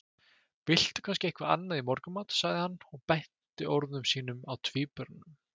Viltu kannski eitthvað annað í morgunmat? sagði hann og beindi orðum sínum að tvíburanum.